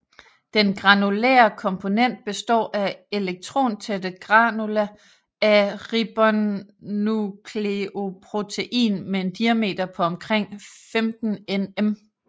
Den granulære komponent består af elektrontætte granula af ribonukleoprotein med en diameter på omkring 15 nm